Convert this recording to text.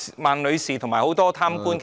孟女士及很多貪官其實......